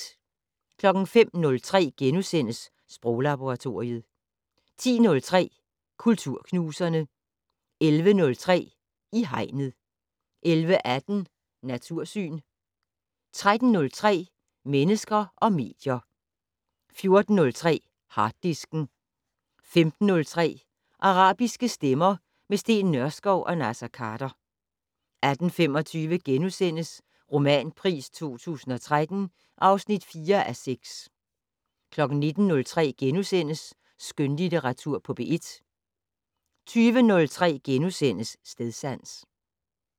05:03: Sproglaboratoriet * 10:03: Kulturknuserne 11:03: I Hegnet 11:18: Natursyn 13:03: Mennesker og medier 14:03: Harddisken 15:03: Arabiske stemmer - med Steen Nørskov og Naser Khader 18:25: Romanpris 2013 (4:6)* 19:03: Skønlitteratur på P1 * 20:03: Stedsans *